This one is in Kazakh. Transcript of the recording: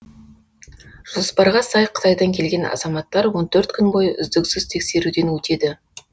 жоспарға сай қытайдан келген азаматтар он төрт күн бойы үздіксіз тексеруден өтеді